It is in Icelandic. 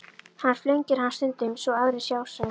Hann flengir hann stundum svo aðrir sjá, sagði